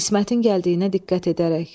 İsmətin gəldiyinə diqqət edərək.